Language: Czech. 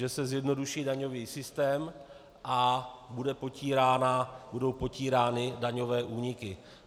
Že se zjednoduší daňový systém a budou potírány daňové úniky.